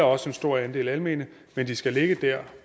også en stor andel af almene men de skal ligge der